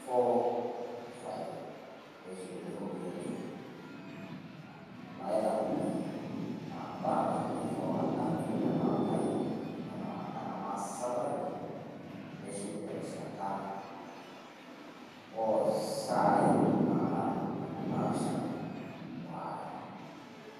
four, five, neshukuni irropiyiani naitapong`oyie. Naa bora ake mei forward a nena ambai neng`amaa safaricom neshuku terishata oo saai naara ntomoni naapishana o are.